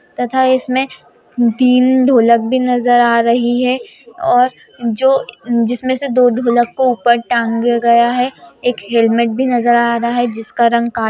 तथा इसमें तीन ढोलक भी नजर आ रही है और जो जिसमें से दो ढोलक को ऊपर तांगे गए हैं एक हेलमेट भी नजर आ रहा है जिसका रंग का --